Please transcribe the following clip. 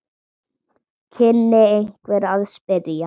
kynni einhver að spyrja.